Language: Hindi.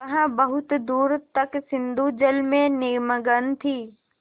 वह बहुत दूर तक सिंधुजल में निमग्न थी